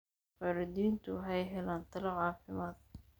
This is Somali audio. Waalidiintu waxay helaan talo caafimaad.